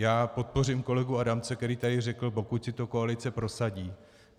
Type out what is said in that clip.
Já podpořím kolegu Adamce, který tady řekl: pokud si to koalice prosadí.